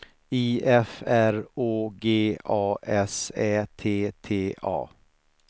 I F R Å G A S Ä T T A